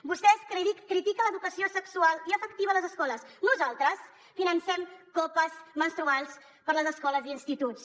vostès critiquen l’educació sexual i afectiva a les escoles nosaltres financem copes menstruals per a les escoles i instituts